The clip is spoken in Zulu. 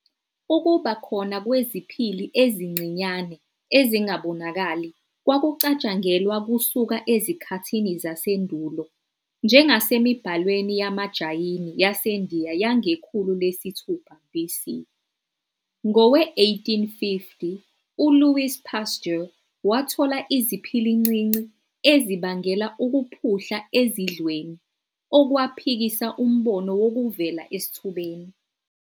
Ukuba khona kweziphili ezincinyane ezingabonakali kwakucatshangelwa kusuka ezikhathini zasendulo, njengasemibhalweni yamaJayini yasendiya yangekhulu lesithupha BC. Ngowe1850, uLouis Pasteur wathola iziphilincinci ezibangela ukuphuhla ezidlweni, okwaphikisa umbono wokuvela esithubeni.